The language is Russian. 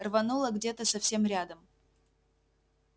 рвануло где то совсем рядом